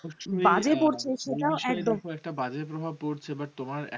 একতা বাজে প্রভাব পড়ছে। but তোমার